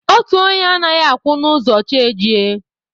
Otu onye anaghị akwụ n'ụzọ chi ejie